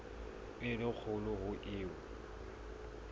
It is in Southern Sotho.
e le kgolo ho eo